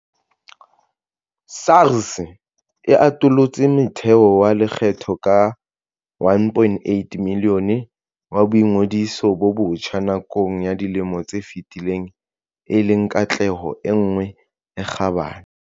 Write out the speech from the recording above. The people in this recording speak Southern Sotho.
SARS e atolotse motheo wa lekgetho ka 1.8 milione wa boingodiso bo botjha nakong ya dilemo tse fetileng e leng katleho e nngwe e kgabane.